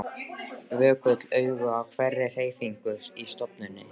Vökul augu á hverri hreyfingu í stofunni.